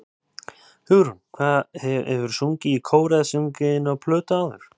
Hugrún: Hefurðu sungið í kór eða sungið inn á plötu áður?